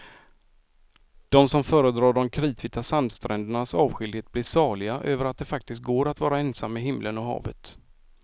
De som föredrar de kritvita sandsträndernas avskildhet blir saliga över att det faktiskt går att vara ensam med himlen och havet.